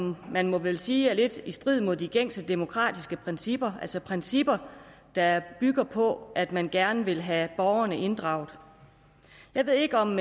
må man vel sige er lidt i strid med de gængse demokratiske principper altså principper der bygger på at man gerne vil have borgerne inddraget jeg ved ikke om